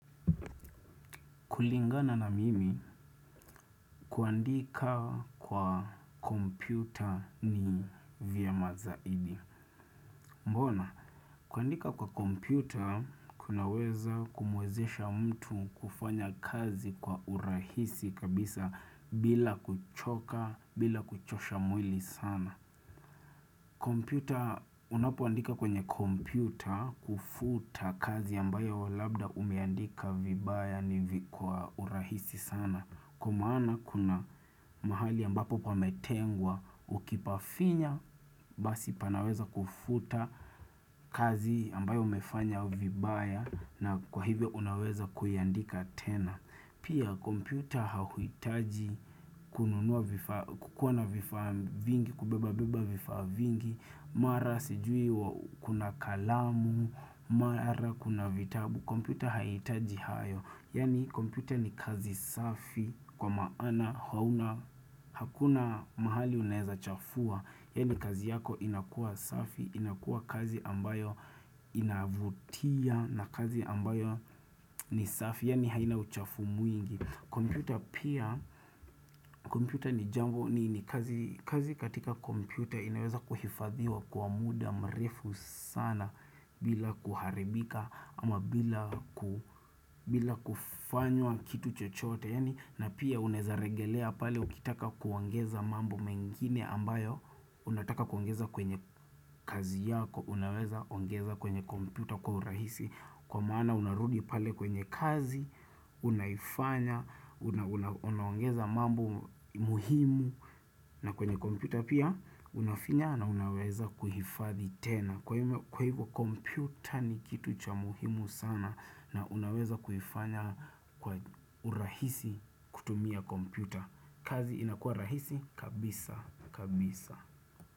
Kulingana na mimi kuandika kwa kompyuta ni vya mazaidi. Mbona, kuandika kwa kompyuta, kunaweza kumwezesha mtu kufanya kazi kwa urahisi kabisa bila kuchoka, bila kuchosha mwili sana. Kompyuta, unapoandika kwenye kompyuta kufuta kazi ambayo labda umeandika vibaya ni kwa urahisi sana. Kwa maana kuna mahali ambapo pametengwa, ukipafinya, basi panaweza kufuta kazi ambayo umefanya vibaya na kwa hivyo unaweza kuiandika tena. Pia kompyuta hauhitaji kununua vifaa vingi, kubeba vifaa vingi, mara sijui kuna kalamu, mara kuna vitabu. Kompyuta haihitaji hayo. Yani kompyuta ni kazi safi kwa maana hauna hakuna mahali unaeza chafua. Yani kazi yako inakua safi, inakua kazi ambayo inavutia na kazi ambayo ni safi Yani haina uchafu mwingi kompyuta pia, kompyuta ni jambo ni kazi katika kompyuta inaweza kuhifadhiwa kwa muda mrefu sana bila kuharibika ama bila kufanywa kitu chochote na pia unaeza regelea pale ukitaka kuongeza mambo mengine ambayo Unataka kuongeza kwenye kazi yako Unaweza ongeza kwenye kompyuta kwa urahisi Kwa maana unarudi pale kwenye kazi Unaifanya, unaongeza mambo muhimu na kwenye kompyuta pia unafinya na unaweza kuhifadhi tena Kwa hivo kompyuta ni kitu cha muhimu sana na unaweza kuifanya kwa urahisi kutumia kompyuta kazi inakua rahisi kabisa.